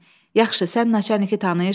Yaxşı, sən naçalniki tanıyırsan?